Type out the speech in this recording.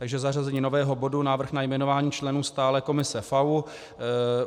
Takže zařazení nového bodu Návrh na jmenování členů Stálé komise FAÚ.